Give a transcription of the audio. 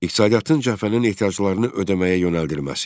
İqtisadiyyatın cəbhənin ehtiyaclarını ödəməyə yönəldilməsi.